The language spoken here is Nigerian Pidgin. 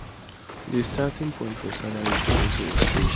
di starting point for salary go also increase